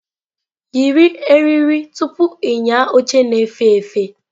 Yiri eriri tupu ịnya oche na-efe efe!